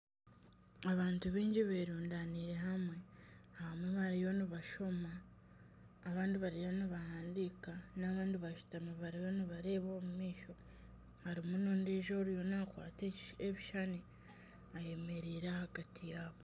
Abantu baingi berundaniire hamwe. Abamwe bariyo nibashoma abandi bariyo nibahandika, n'abandi bashutami bariyo nibareeba omumaisho. Harimu n'ondijo oriyo nakwata ebishushani ayemereire ahagati yaabo.